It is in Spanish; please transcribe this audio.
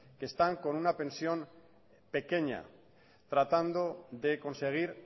que están con una pensión pequeña tratando de conseguir